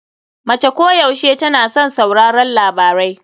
Mace koyaushe tana son sauraron labarai.